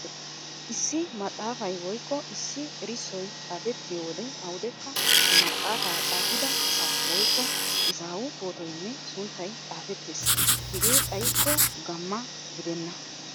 Issi maxaafay woykko issi erissoy xaafettiyo wode awudekka he maxaafaa xaafida asaa woykko izaawu pootoynne sunttay xaafettees. Hegee xaykko gamma gidenna.